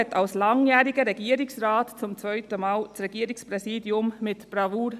Als langjähriger Regierungsrat meisterte Christoph Neuhaus das Regierungspräsidium zum zweiten Mal mit Bravour.